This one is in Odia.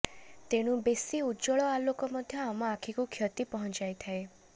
ତେଣୁ ବେସି ଉଜ୍ବଳ ଆଲେକ ମଧ୍ୟ ଆମ ଅଖିକୁ କ୍ଷତୁ ପହଁଞ୍ଚାଇଥାଏ